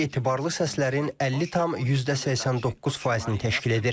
Bu etibarlı səslərin 50,89 faizini təşkil edir.